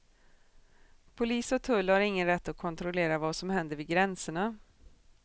Polis och tull har ingen rätt att kontrollera vad som händer vid gränserna.